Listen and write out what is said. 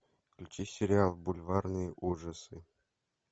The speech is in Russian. включи сериал бульварные ужасы